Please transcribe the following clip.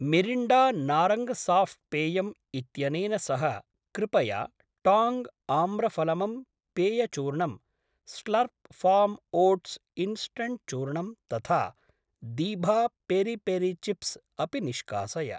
Mirinda नारङ्गसाफ्ट् पेयम् इत्यनेन सह कृपया टाङ्ग् आम्रफलमं पेयचूर्णम्, स्लर्प् फार्म् ओट्स् इन्स्टण्ट् चूर्णम् तथा दीभा पेरि पेरि चिप्स् अपि निष्कासय।